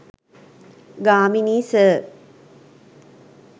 Gamini sir